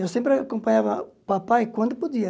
Eu sempre acompanhava o papai quando podia.